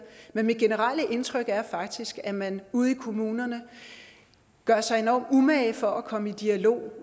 men mit generelle indtryk er faktisk at man ude i kommunerne gør sig enormt umage for at komme i dialog